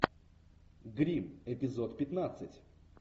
гримм эпизод пятнадцать